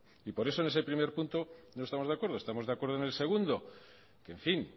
y por eso en ese primer punto no estamos de acuerdo estamos de acuerdo en el segundo que en fin